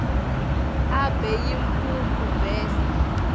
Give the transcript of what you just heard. abe yimphuphu bese